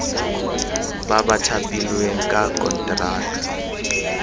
ba ba thapilweng ka konteraka